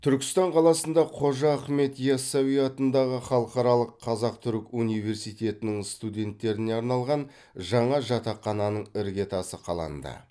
түркістан қаласында қожа ахмет яссауи атындағы халықаралық қазақ түрік университетінің студенттеріне арналған жаңа жатақхананың іргетасы қаланды